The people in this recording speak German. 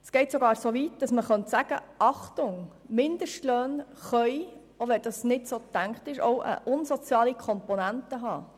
Es geht sogar so weit, dass man sagen könnte: Achtung, Mindestlöhne können, wenn auch unbeabsichtigt, unsoziale Komponenten enthalten.